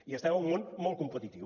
i estem en un món molt competitiu